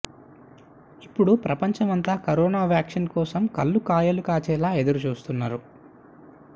ఇప్పుడు ప్రపంచం అంతా కరోనా వాక్సిన్ కోసం కళ్ళు కాయలు కాచేలా ఎదురు చూస్తున్నారు